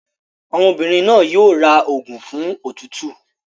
Ọmọbìnrin náà yóò ra òògùn fún òtútù.